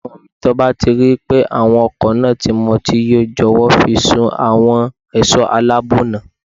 Ọmọmi, tí o bá ripé awakọ̀ náà ti mutí yó, jọ̀wọ́ fi í sùn fún àwọn ẹ̀ṣọ́ aláàbọ̀ ọ̀nà.